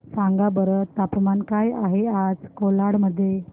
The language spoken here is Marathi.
सांगा बरं तापमान काय आहे आज कोलाड मध्ये